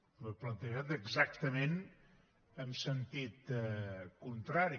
ho he plantejat exactament amb sentit contrari